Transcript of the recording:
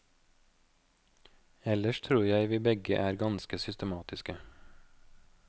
Ellers tror jeg vi begge er ganske systematiske.